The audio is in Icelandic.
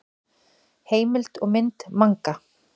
Heimild og mynd Manga.